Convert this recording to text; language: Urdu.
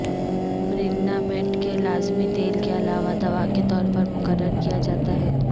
برگنامٹ کے لازمی تیل کے علاوہ دوا کے طور پر مقرر کیا جاتا ہے